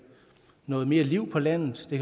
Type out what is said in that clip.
noget mere liv på landet det